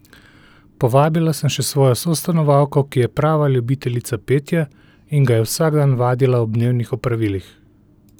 Povabila sem še svojo sostanovalko, ki je prava ljubiteljica petja in ga je vsak dan vadila ob dnevnih opravilih.